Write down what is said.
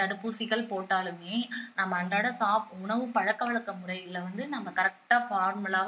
தடுப்பூசிகள் போட்டாலுமே நம்ம அன்றாடம் சாப்~ உணவுப் பழக்கவழக்க முறையில வந்து நம்ம correct ஆ formal ஆ